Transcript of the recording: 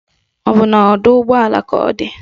Ọ bụ na ọdọụgbọala ka ọ di?